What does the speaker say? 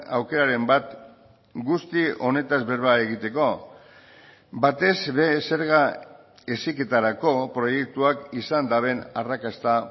aukeraren bat guzti honetaz berba egiteko batez ere zerga heziketarako proiektuak izan duten arrakasta